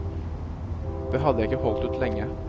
Det hadde jeg ikke holdt ut lenge.